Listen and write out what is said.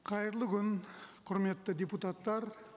қайырлы күн құрметті депутаттар